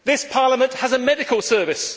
Parliament has a medical service.